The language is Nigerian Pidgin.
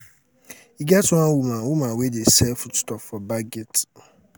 e get one woman woman wey dey sell foodstuff for back gate